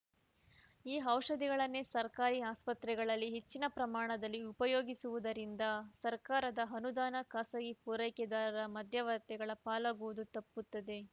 ಈ ಔಷಧಿಗಳನ್ನೇ ಸರ್ಕಾರಿ ಆಸ್ಪತ್ರೆಗಳಲ್ಲಿ ಹೆಚ್ಚಿನ ಪ್ರಮಾಣದಲ್ಲಿ ಉಪಯೋಗಿಸುವುದರಿಂದ ಸರ್ಕಾರದ ಅನುದಾನ ಖಾಸಗಿ ಪೂರೈಕೆದಾರರ ಮಧ್ಯವರ್ತಿಗಳ ಪಾಲಾಗುವುದು ತಪ್ಪುತ್ತದೆ